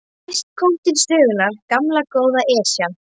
Næst kom til sögunnar gamla, góða Esjan.